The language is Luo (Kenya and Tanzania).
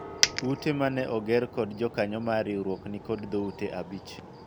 Ute mane oger kod jokanyo mar riwruok nikod dhoute abich